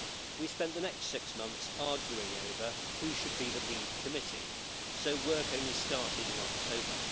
We spent the next six months arguing over who should be the lead committee, so work only started in October.